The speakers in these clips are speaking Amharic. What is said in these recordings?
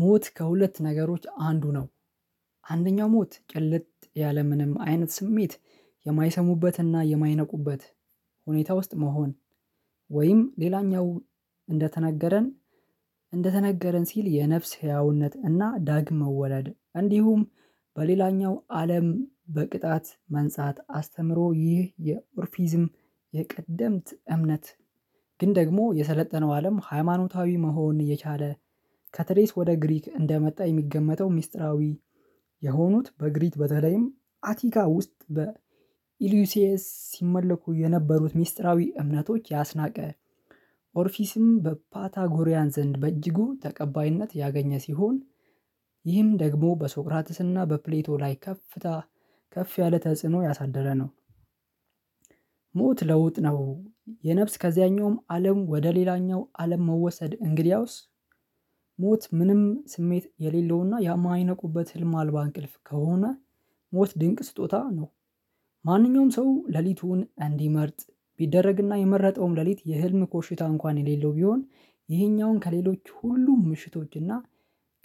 ሞት ከሁለት ነገሮች አንዱ ነው። አንደኛው ሞት ጨለት ያለምንም አይነት ስሜት የማይሰሙበትና የማይነቁበት ሁኔታ ውስጥ መሆን። ወይም ሌላኛው እንደተነገረን እንደተነገረን ሲል የነፍስ ህያውነት እና ዳግም መወለድ እንዲሁም- በሌላኛው አለም በቅጣት መንጻት አስተምሮ ይህ የኦርፊዝም የቀደምት እምነት- ግን ደግሞ የሰለጠነው አለም ሃይማኖታዊ መሆን እየቻለ ከተሬስ ወደ ግሪክ እንደመጣ የሚገመተው ሚስጥራዊ- የሆኑት በግሪት በተለይም አቲካ ውስጥ በኢሉሲየስ ሲመለኩ የነበሩት ሚስጥራዊ እምነቶች ያስናቀ ኦርፊስም በፓታጎሪያን ዘንድ በእጅጉ ተቀባይነት ያገኘ ሲሆን:- ይህም ደግሞ በሶቅራጥስና በፕሌቶ ላይ ከፍታ ከፍ ያለ ተጽዕኖ ያሳደረ ነው። ሞት ለውጥ ነው። የነፍስ ከዚያኛውም አለም ወደ ሌላኛው አለም መወሰድ እንግዲያውስ- ሞት ምንም ስሜት የሌለውና የማይነቁበት ህልም አልባ እንቅልፍ ከሆነ ሞት ድንቅ ስጦታ ነው። ማንኛውም ሰው ሌሊቱን እንዲመርጥ ቢደረግና የመረጠውም ሌሊት የህልም ኮሽታ እንኳን የሌለው ቢሆን ይሄኛውን ከሌሎች ሁሉ ምሽቶችና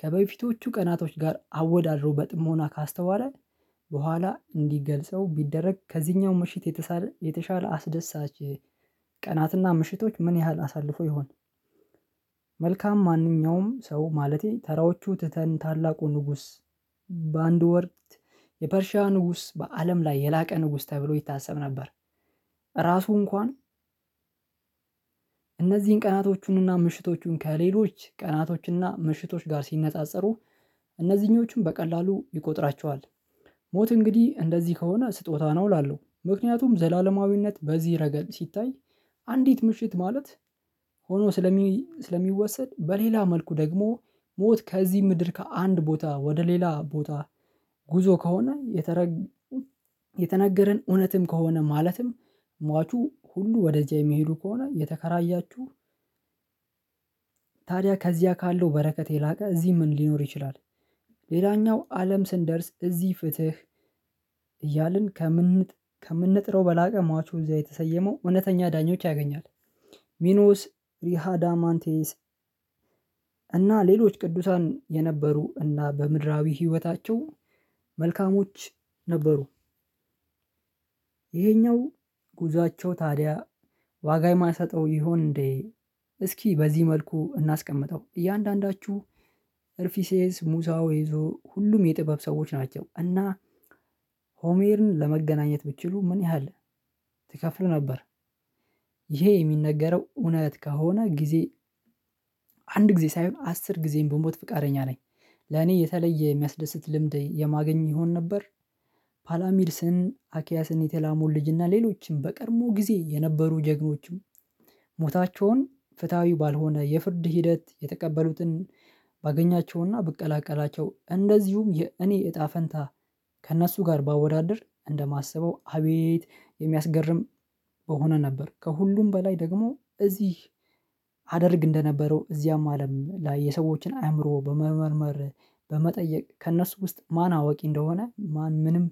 ከበፊቶቹ ቀናቶች ጋር አወዳድሮ በጥሞና ካስተዋለ በኋላ እንዲገልጸው ቢደረግ ከዚህኛው ምሽት- የተሻለ አስደሳች ቀናትና ምሽቶች ምን ያህል አሳልፎ ይሆን። መልካም ማንኛውም ሰው ማለቴ ተራዎቹ ትተን ታላቁ ንጉስ በአንድ ወርትየፐርሺያ ንጉስ በአለም ላይ የላቀ ንጉስ ተብሎ ይታሰብ ነበር። ራሱ እንኳን እነዚህን ቀናቶቹንና ምሽቶቹን ከሌሎች ቀናቶችና ምሽቶች ጋር ሲነጻጸሩ እነዚህኞቹን በቀላሉ ይቆጥራቸዋል። ሞት እንግዲህ እንደዚህ ከሆነ ስጦታ ነው እላለሁ። ምክንያቱም ዘላለማዊነት በዚህ ረገድ ሲታይ- አንዲት ምሽት ማለት ሆኖ ስለሚወሰድ በሌላ መልኩ ደግሞ- ሞት ከዚህ ምድር ከአንድ ቦታ ወደ ሌላ ቦታ። ጉዞ ከሆነ የተረጉ የተነገረን እውነትም ከሆነ ማለትም- ሟቹ ሁሉ ወደዚያ የሚሄዱ ከሆነ የተከራያችሁ- ታዲያ ከዚያ ካለው በረከት የላቀ እዚህ ምን ሊኖር ይችላል። ሌላኛው አለም ስንደርስ እዚህ ፍትህ እያልን ከምን ከምንጥረው በላቀ ሟቹን እዚያ የተሰየመው እውነተኛ ዳኞች ያገኛል። ሚኖስ ሪሃዳማንቴስ እና ሌሎች ቅዱሳን የነበሩ እና በምድራዊ ህይወታቸው መልካሞች ነበሩ። ይሄኛው ጉዟቸው ታዲያ ዋጋ የማሰጠው ይሆን እንዴ? እስኪ በዚህ መልኩ እናስቀምጠው እያንዳንዳችሁ እርፊሴስ ሙሳው ይዞ ሁሉም የጥበብ ሰዎች ናቸው። እና- ሆሜርን ለመገናኘት ብችሉ ምን ያህል ትከፍሉ ነበር? ይሄ የሚነገረው እውነት ከሆነ ጊዜ አንድ ጊዜ ሳይሆን አስር ጊዜን ብሞት ፍቃደኛ ነኝ። ለኔ የተለየ የሚያስደስት ልምድ የማገኝ ይሆን ነበር? ፓላሚድስን :አኪያስን: የተላሙ ልጅና ሌሎችንም በቀድሞ ጊዜ የነበሩ ጀግኖችም- ሞታቸውን ፍትሃዊ ባልሆነ የፍርድ ሂደት የተቀበሉትን- ባገኛቸውና ብቀላቀላቸው እንደዚሁም የኔ እጣ ፈንታ ከእነሱ ጋር ባወዳድር እንደማሰበው አቤት የሚያስገርም- በሆነ ነበር። ከሁሉም በላይ ደግሞ እዚህ- አደርግ እንደነበረው እዚያም አለም ላይ የሰዎችን አእምሮ በመመርመር- በመጠየቅ ከእነሱ ውስጥ ማን አዋቂ እንደሆነ ማን ምንም-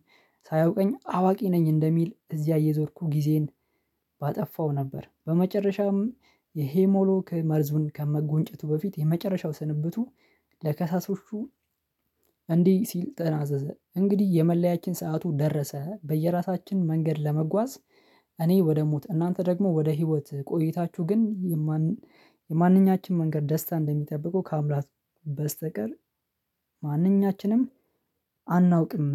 ሳያውቀኝ አዋቂ ነኝ እንደሚል እዚያ እየዞርኩ ጊዜን ባጠፋው ነበር። በመጨረሻም የሄሞሎክ መርዙን ከመጎንጨቱ በፊት የመጨረሻው ስንብቱ ለከሳሳቹ- እንዲህ ሲል ተናዘዘ እንግዲህ የመለያችን ሰዓቱ ደረሰ በየራሳችን መንገድ ለመጓዝ እኔ ወደ ሞት እናንተ ደግሞ ወደ ህይወት ቆይታችሁ ግን- የማን የማንኛችንም መንገድ ደስታ እንደሚጠብቀው ከአምላክ በስተቀር ማንኛችንም አናውቅም።